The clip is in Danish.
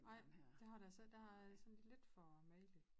Ej det har det altså ikke det har sådan ldit for mageligt